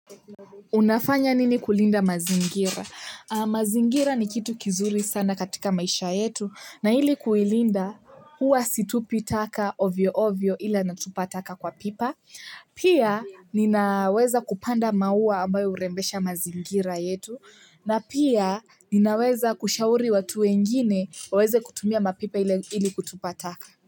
Unafanya nini kulinda mazingira? Mazingira ni kitu kizuri sana katika maisha yetu. Na ili kuilinda huwa situpi taka ovyo ovyo ila natupa taka kwa pipa. Pia ninaweza kupanda maua ambayo urembesha mazingira yetu. Na pia ninaweza kushauri watu wengine waweze kutumia mapipa ili kutupa taka.